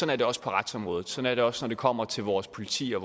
er det også på retsområdet sådan er det også når det kommer til vores politi og